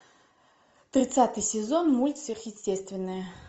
тридцатый сезон мульт сверхъестественное